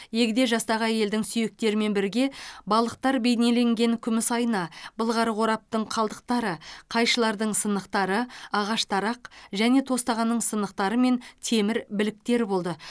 егде жастағы әйелдің сүйектерімен бірге балықтар бейнеленген күміс айна былғары қораптың қалдықтары қайшылардың сынықтары ағаш тарақ және тостағанның сынықтары мен темір біліктер болды